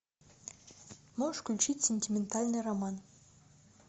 можешь включить сентиментальный роман